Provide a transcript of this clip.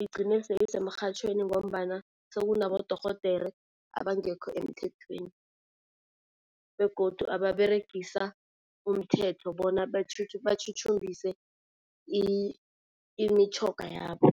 igcine seyisemrhatjhweni ngombana sekunabodorhodera abangekho emthethweni begodu ababeregisa umthetho bona batjhutjhumbise imitjhoga yabo.